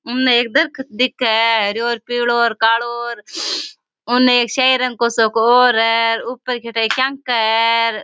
उने एक दरकत दिखे है हरो पिलो कालो और उने श्याही रंग को सो और है और ऊपर के ठा क्याका है।